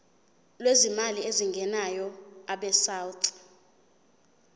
lwezimali ezingenayo abesouth